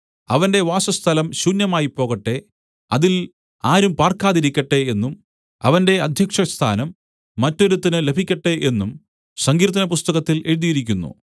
അവന്റെ വാസസ്ഥലം ശുന്യമായിപ്പോകട്ടെ അതിൽ ആരും പാർക്കാതിരിക്കട്ടെ എന്നും അവന്റെ അദ്ധ്യക്ഷസ്ഥാനം മറ്റൊരുത്തന് ലഭിക്കട്ടെ എന്നും സങ്കീർത്തനപുസ്തകത്തിൽ എഴുതിയിരിക്കുന്നു